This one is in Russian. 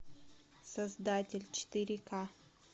создатель четыре ка